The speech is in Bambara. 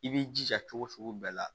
I b'i jija cogo sugu bɛɛ la